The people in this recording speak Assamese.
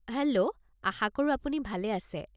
হেল্ল', আশাকৰোঁ আপুনি ভালে আছে।